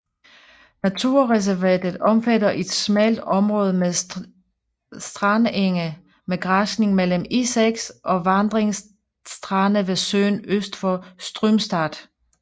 Naturreservatet omfatter et smalt område med strandenge med græsning mellem E6 og vandrige strande ved søen øst for Strömstad